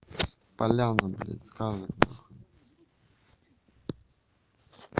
поляна блядь сказок нахуй